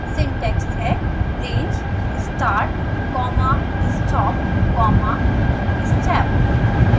syntax है: range start comma stop comma step